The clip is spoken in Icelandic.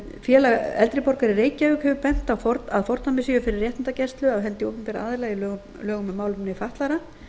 félag eldri borgara í reykjavík hefur bent á að fordæmi séu fyrir réttindagæslu af hendi opinberra aðila í lögum um málefni fatlaðra